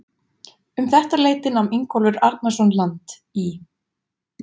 Um þetta leyti nam Ingólfur Arnarson land í